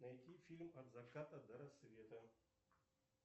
найти фильм от заката до рассвета